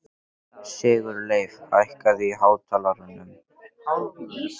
Sigurleif, hækkaðu í hátalaranum.